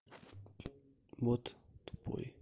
вот такой